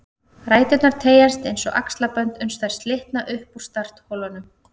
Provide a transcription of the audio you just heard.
Ræturnar teygjast eins og axlabönd uns þær slitna upp úr startholunum